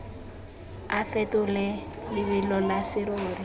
o fetole lebelo la serori